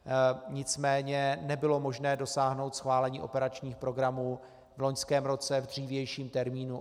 Nicméně nebylo možné dosáhnout schválení operačních programů v loňském roce v dřívějším termínu.